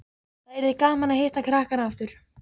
Það yrði gaman að hitta krakkana aftur